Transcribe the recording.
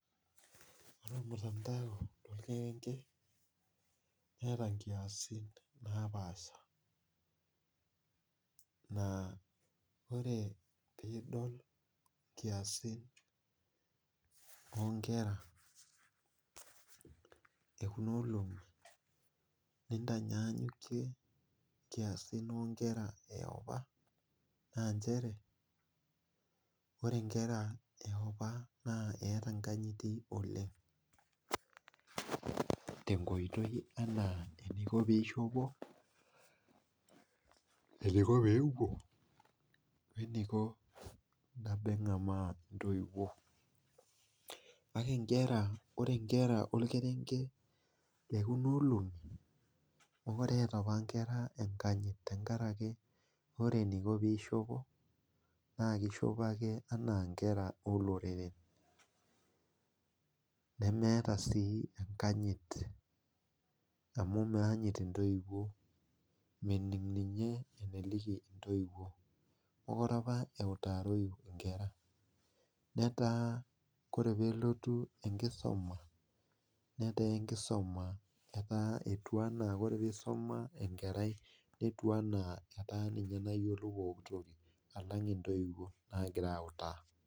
Ore eton intau lonkirenke neata nkiasin napaasha, naa ore piidol nkiasin onkera ekuna olong'i nintanyanyuke nkiasin onkera eopa naa inchere ore inkera eopa naa eata inkanyiti oleng te nkoitoi anaa eneiko peishopo, eneiko peewuon, oneiko naa peng'amaa intowuo kake ore inkera olkerenke ekuna olong'i neata apa inkera inkanyit tengaraki, ore eneiko peishopo naa keishopo ake enaa inkera oloreren, nemeeta sii enkanyit amu meanyit intoiwuo, mening' ninye eneliki intoiwuo. Mekore apa eutaroi inkera, netaa kore peelotu inkisuma, netaa inkisuma etaa etua naa kore peisuma enkerai netiu anaa ninye nayiolo entoki alang intoiwuo naagira autaa.